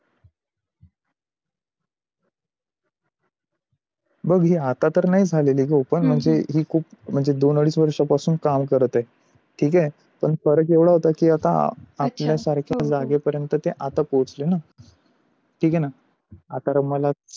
बघ मी आता तर नाही झालेली ग open म्हणजे ही खूप दोन अडीज वर्षा पासून काम करत आहे. ठीक आहे पन फरक एवड होत की आता आपल्या सारखे जागे पर्यन्त ती आता पहुचली न. ठीक आहे न आता मला